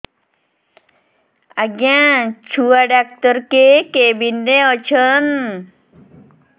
ଆଜ୍ଞା ଛୁଆ ଡାକ୍ତର କେ କେବିନ୍ ରେ ଅଛନ୍